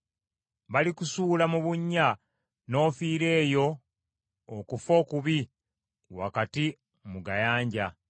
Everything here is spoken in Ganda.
Balikusuula mu bunnya n’ofiira eyo okufa okubi wakati mu gayanja.